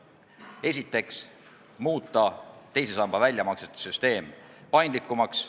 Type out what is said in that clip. Esiteks tahame muuta teise samba väljamaksete süsteemi paindlikumaks.